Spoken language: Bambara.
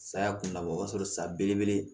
Saya kun labɔ o y'a sɔrɔ sa belebele